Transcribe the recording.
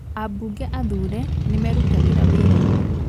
Abunge athure nĩmerutagĩra wirainí